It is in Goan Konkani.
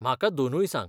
म्हाका दोनूय सांग.